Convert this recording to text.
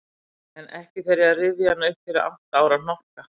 En ekki fer ég að rifja hana upp fyrir átta ára hnokka.